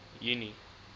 junie